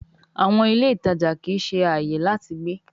àwọn ilé ìtàjà kìí ṣe ààyè láti gbé.